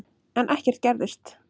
En ekkert gerðist.